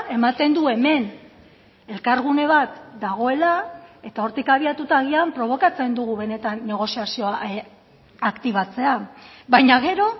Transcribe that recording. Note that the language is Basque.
ematen du hemen elkargune bat dagoela eta hortik abiatuta agian probokatzen dugu benetan negoziazioa aktibatzea baina gero